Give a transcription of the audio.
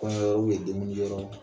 Kɔɲɔ yɔrɔ deŋuli kɛyɔrɔ la